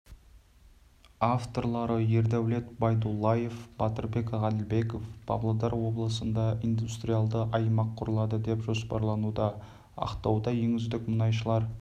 авторлары ердәулет байдуллаев батырбек ғаділбеков павлодар облысында индустриалды аймақ құрылады деп жоспарлануда ақтауда ең үздік мұнайшылар